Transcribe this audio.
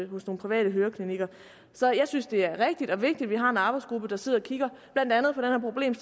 hos nogle private høreklinikker så jeg synes det er rigtigt og vigtigt at vi har en arbejdsgruppe der sidder og kigger på blandt andet